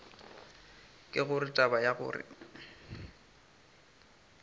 ke gore taba ya gore